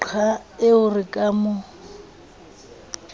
qha eo re ka mo